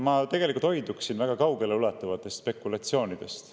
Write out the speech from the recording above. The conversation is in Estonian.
Ma tegelikult hoiduksin väga kaugeleulatuvatest spekulatsioonidest.